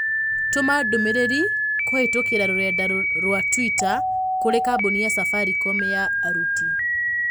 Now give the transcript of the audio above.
Tũma ndũmĩrĩri kũhĩtũkĩra rũrenda rũa tũita kũrĩ kambũni ya Safaricom ya aruti